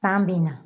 San bɛ na